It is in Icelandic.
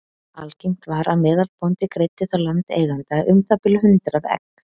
Algengt var að meðalbóndi greiddi þá landeiganda um það bil hundrað egg.